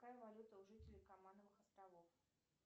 какая валюта у жителей каймановых островов